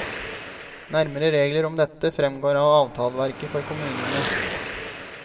Nærmere regler om dette fremgår av avtaleverket for kommunene.